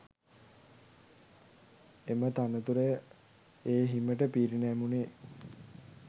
එම තනතුර ඒ හිමිට පිරිනැමුණේ